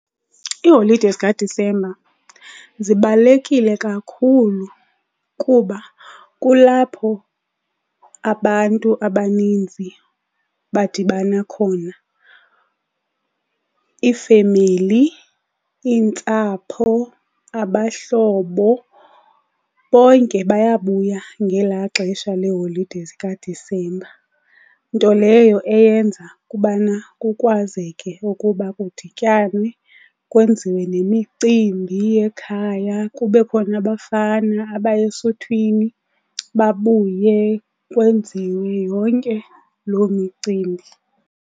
Iiholide zikaDisemba zibalulekile kakhulu kuba kulapho abantu abaninzi badibana khona. Iifemeli, iintsapho, abahlobo bonke bayabuya ngelaa xesha leholide zikaDisemba. Nto leyo eyenza ukubana kukwazeke ukuba kudityanwe kwenziwe nemicimbi yekhaya. Kube khona abafana abaya esuthwini babuye, kwenziwe yonke loo micimbi.